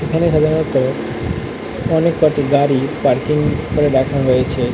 এখানে সাধারণত অনেককটি গাড়ি পার্কিং করে রাখা হয়েছে।